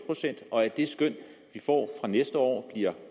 og at det skøn vi får fra næste år bliver